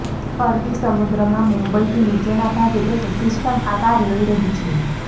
અરબી સમુદ્રમાં મુંબઇથી નીચેના ભાગે એક સિસ્ટમ આકાર લઇ રહી છે